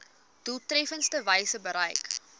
doeltreffendste wyse bereik